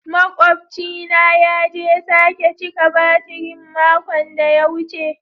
Maƙwabci na ya je sake cika batirin mako da ya wuce.